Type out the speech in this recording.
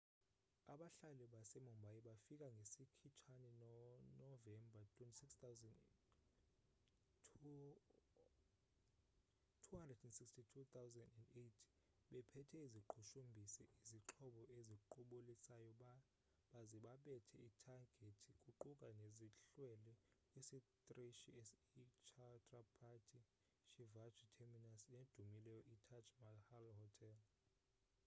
abahlaseli base mumbai bafika ngesikhitshane no novemba 26,2008 bephethe iziqhushumbisi izixhobo eziqubulisayo baze babetha ithagethi kuquka nezihlwele kwisitrishi i chhatrapati shivaji terminus nedumileyo i taj mahal hotel